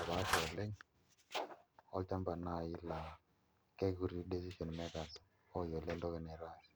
epaasha oleng' olchamba naai laa kekuti decision makers ooyiolo entoki naitaasi.